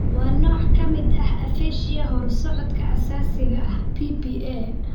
Waa nooc ka mid ah aphasia horusocodka aasaasiga ah (PPA).